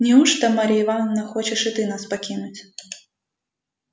неужто марья ивановна хочешь и ты нас покинуть